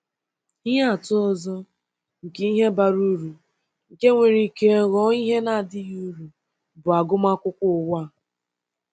Ihe atụ ọzọ nke ihe bara uru nke nwere ike ghọọ ihe na-adịghị uru bụ agụmakwụkwọ ụwa.